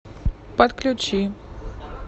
подключи